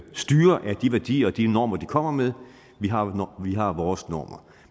styre af de værdier og de normer de kommer med vi har har vores normer